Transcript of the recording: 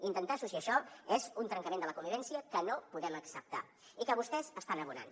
intentar associar això és un trencament de la convivència que no podem acceptar i que vostès estan abonant